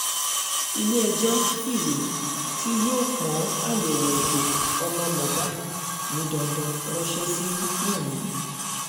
ilé-ẹjọ́ fìwé tí yóò pọ́n àyẹ̀wò ẹ̀jẹ̀ ọmọ mohbak ní dandan ránṣẹ́ sí wumi